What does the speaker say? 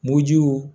Mugu jiw